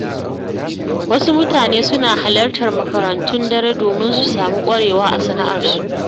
Wasu mutane suna halartar makarantun dare domin su sami ƙwarewa a sana’arsu.